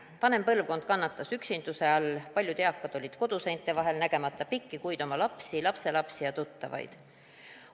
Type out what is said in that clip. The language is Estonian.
Vanem põlvkond kannatas üksinduse all, paljud eakad olid koduseinte vahel, nägemata pikki kuid oma lapsi, lapselapsi ja tuttavaid.